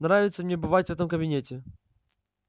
нравится мне бывать в этом кабинете